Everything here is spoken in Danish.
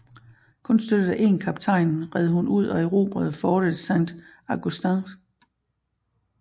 Kun støttet af én kaptajn red hun ud og erobrede fortet Saint Augustins